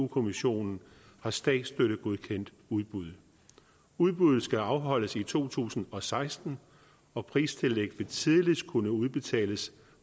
kommissionen har statsstøttegodkendt udbuddet udbuddet skal afholdes i to tusind og seksten og pristillæg vil tidligst kunne udbetales